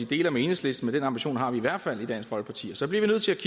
deler med enhedslisten men den ambition har vi i hvert fald i dansk folkeparti og så bliver vi nødt til